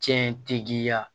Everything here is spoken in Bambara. Cɛ in tɛ diya